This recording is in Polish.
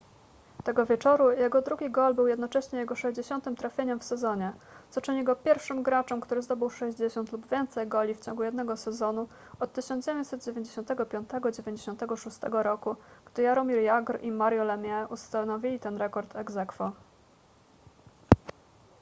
tego wieczoru jego drugi gol był jednocześnie jego 60 trafieniem w sezonie co czyni go pierwszym graczem który zdobył 60 lub więcej goli w ciągu jednego sezonu od 1995-96 roku gdy jaromir jagr i mario lemieux ustanowili ten rekord ex aequo